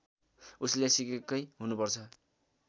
उसले सिकेकै हुनुपर्छ